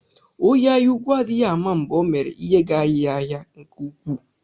Onye anyaúkwú adịghị ama mgbe Ọ mèrè ihe ga-anyi ya ahịa nke ukwuu.